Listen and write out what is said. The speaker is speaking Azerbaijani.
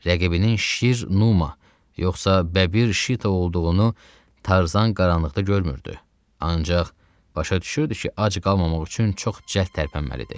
Rəqibinin Şir Numa, yoxsa Bəbir Şita olduğunu Tarzan qaranlıqda görmürdü, ancaq başa düşürdü ki, ac qalmamaq üçün çox cəld tərpənməlidir.